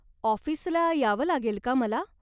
ऑफिसला यावं लागेल का मला?